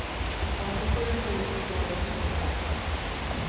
åttiosju tusen tvåhundratjugotvå